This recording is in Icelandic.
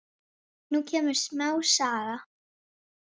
Nú kemur smá saga.